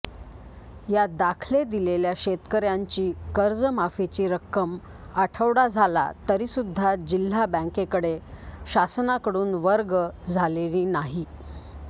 या दाखले दिलेल्या शेतकऱयांची कर्जमाफीची रक्कम आठवडा झाला तरीसुध्दा जिल्हा बँकेकडे शासनाकडून वर्ग झालेली नाही